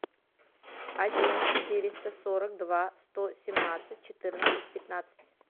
один четыреста сорок два сто семнадцать четырнадцать пятнадцать